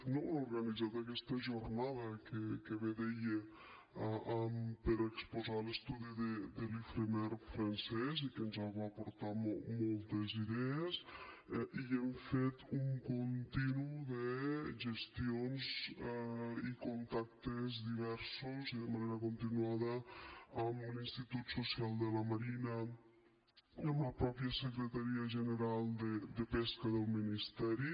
no hem organitzat aquesta jornada que bé deia per exposar l’estudi de l’ifremer francès i que ens va aportar moltes idees i hem fet un continu de gestions i contactes diversos i de manera continuada amb l’institut social de la marina i amb la mateixa secretaria general de pesca del ministeri